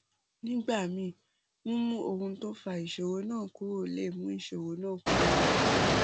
nígbà míì mímú ohun tó fa ìṣòro náà kúrò lè mú ìṣòro náà kúrò